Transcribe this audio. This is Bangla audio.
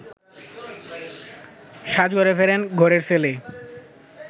সাজঘরে ফেরেন ঘরের ছেলে